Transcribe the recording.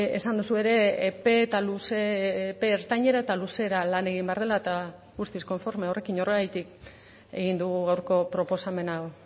esan duzu ere epe eta luze epe ertainera eta luzera lan egin behar dela eta guztiz konforme horrekin horregatik egin dugu gaurko proposamen hau